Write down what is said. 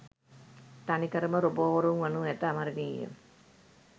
තනිකරම රොබෝවරුන් වනු ඇතඅමරණීය .